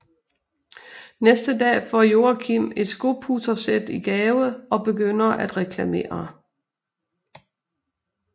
Næste dag får Joakim et skopudsersæt i gave og begynder at reklamere